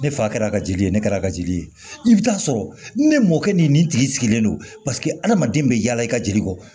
Ne fa kɛra ka jeli ye ne kɛra a ka jeli ye i bɛ taa sɔrɔ ne mɔkɛ ni nin tigi sigilen don adamaden bɛ yala i ka jeli kɔ